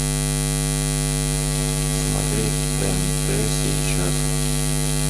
смотреть тнт сейчас